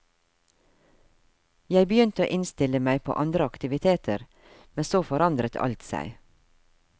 Jeg begynte å innstille meg på andre aktiviteter, men så forandret alt seg.